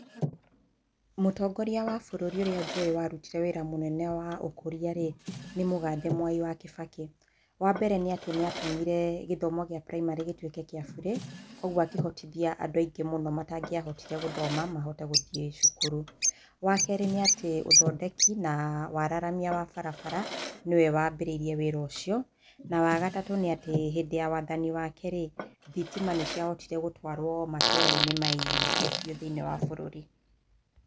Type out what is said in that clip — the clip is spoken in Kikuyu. Mũtongoria wa bũrũri ũrĩa njũĩ warutire wĩra mũnene wa ũkũria rĩ nĩ mũgathe mwaĩ wa Kĩbakĩ. Wa mbere nĩ atĩ nĩatũmire gĩthomo gĩa primary gĩtuĩke gĩa burĩ, koguo akĩhotithia andũ aingĩ mũno matangĩahotire gũthoma mahote gũthiĩ cukuru. Wa kerĩ nĩ atĩ ũthondeki na wararamia wa barabara nĩwe wambĩrĩirie wĩra ũcio. Na wa gatatũ nĩ atĩ hindĩ ya wathani wake rĩ thitima nĩ cĩahotire gũtwarwo matũũrainĩ maingĩ bĩu thĩiniĩ wa bũrũri.